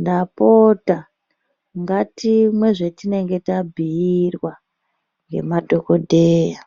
ndapota ngatimwe zvetinenge tabhuirwa ngema dhokodheya.